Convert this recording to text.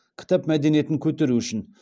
кітап мәдениетін көтеру үшін